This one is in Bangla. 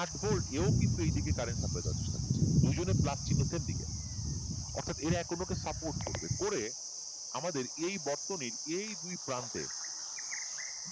আট এও কিন্তু এই দিকে current supply দেওয়ার চেষ্টা করছে দুইজন এর plus চিহ্ন same দিকে অথব এরা এখন একে support করবে করে আমাদের এই বর্তনীর এই দুই প্রান্তে